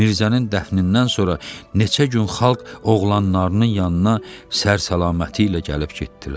Mirzənin dəfnindən sonra neçə gün xalq oğlanlarının yanına sər-salaməti ilə gəlib getdilər.